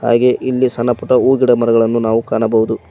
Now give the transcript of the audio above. ಹಾಗೆ ಇಲ್ಲಿ ಸಣ್ಣ ಪುಟ್ಟ ಹೂ ಗಿಡ ಮರಗಳನ್ನು ನಾವು ಕಾಣಬಹುದು.